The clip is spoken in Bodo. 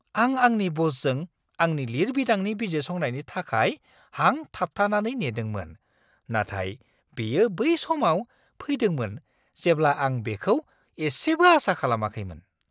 आं आंनि ब'सजों आंनि लिरबिदांनि बिजिरसंनायनि थाखाय हां थाबथानानै नेदोंमोन, नाथाय बेयो बै समाव फैदोंमोन जेब्ला आं बेखौ एसेबो आसा खालामाखैमोन।